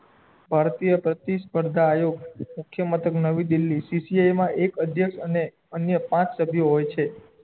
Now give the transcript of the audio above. ભારતીય પતો સ્પર્ધા આયોગ મુખ્ય મતલબ નવી દિલ્લી તીથીયે એમાં એક અધ્યક્ષ અને અન્ય પાંચ સભ્ય હોય છે